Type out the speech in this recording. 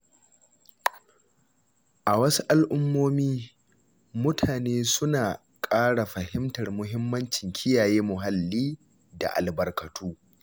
A wasu al’ummomi, mutane suna ƙara fahimtar mahimmancin kiyaye muhalli da albarkatu.